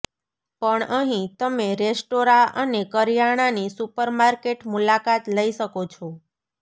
પણ અહીં તમે રેસ્ટોરાં અને કરિયાણાની સુપરમાર્કેટ મુલાકાત લઈ શકો છો